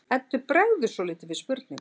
Eddu bregður svolítið við spurninguna.